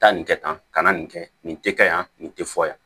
Taa nin kɛ tan ka na nin kɛ nin tɛ ka yan nin tɛ fɔ yan